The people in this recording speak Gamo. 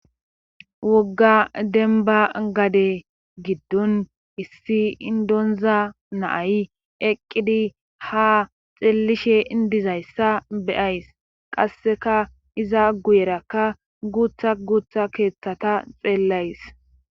Wogga denba gade giddun issi indonza naayi eqqidi ha xellishe indizayssa beyays qasseka iza guyerakka guutha guutha keeththata xeellays.